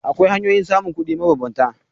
Akwai hanyoyin samun kuɗi mabambanta.